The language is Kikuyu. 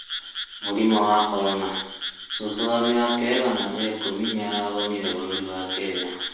Mũrĩmũ wa Korona: cũcũ wa mĩaka ĩgana rĩa ĩkumĩ nĩarahonĩra bũrũri wa Kenya